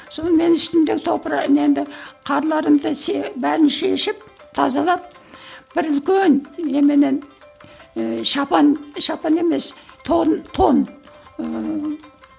сонымен үстімдегі немді қарларымды бәрін шешіп тазалап бір үлкен ііі шапан шапан емес тон тон ыыы